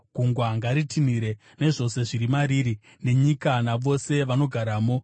Gungwa ngaritinhire, nezvose zviri mariri, nenyika, navose vanogaramo.